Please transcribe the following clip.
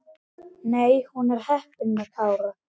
Nei, hún er heppin með Kára.